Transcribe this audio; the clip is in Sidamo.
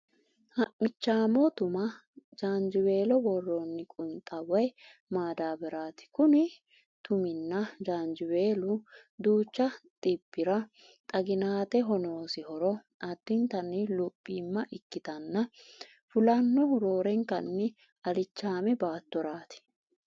Ha'michaamo tuma gaanjiweelo worroonni qunxa woy madaabbaraati. Kuni tumunna jaanjiweelu duuchu xibbira xaginateho noosi horo addintanni luphioma ikkitanna fulannohu roorenkanni alichaame baattoraati.